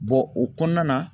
o kɔnɔna na